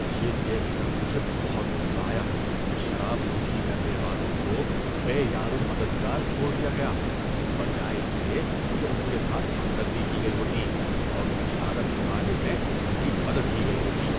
یہ دیکھ کر مجھے بہت غصہ آیا کہ شراب نوشی کرنے والوں کو بے یار و مددگار چھوڑا دیا گیا، بجائے اس کے کہ ان کے ساتھ ہمدردی کی گئی ہوتی اور اس کی عادت چھڑانے میں ان کی مدد کی گئی ہوتی۔